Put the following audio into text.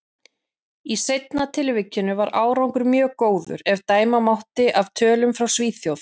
Í seinna tilvikinu var árangur mjög góður, ef dæma mátti af tölum frá Svíþjóð.